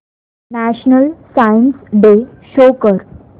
national science day show कर